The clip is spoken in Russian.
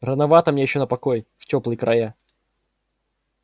рановато мне ещё на покой в тёплые края